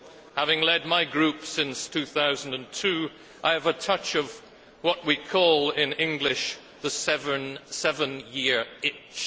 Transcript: Having led my group since 2002, I have a touch of what we call in English the seven year itch.